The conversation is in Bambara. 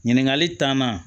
Ɲininkali tanna